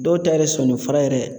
Dɔw ta yɛrɛ sɔnifara yɛrɛ